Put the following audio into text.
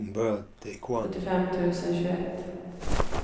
sjuttiofem tusen tjugoett